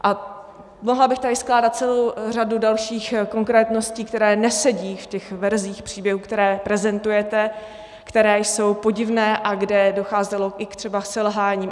A mohla bych tady skládat celou řadu dalších konkrétností, které nesedí v těch verzích příběhů, které prezentujete, které jsou podivné a kde docházelo i třeba k selháním.